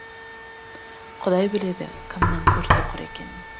құдай біледі кімнің көрсоқыр екенін